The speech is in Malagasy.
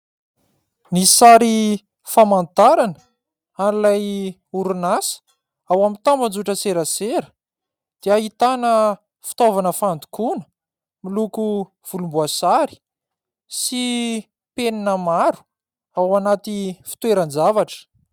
Ny sary famantarana an'ilay orinasa ao amin'ny tambazotran-tserasera dia ahitana fitaovana fandokoana miloko volomboasary sy penina maro ao anaty fitoeran-javatra.